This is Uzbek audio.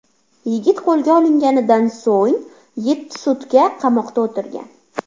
Yigit qo‘lga olinganidan so‘ng yetti sutka qamoqda o‘tirgan.